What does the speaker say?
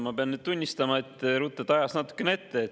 Ma pean nüüd tunnistama, et te ruttate ajas natukene ette.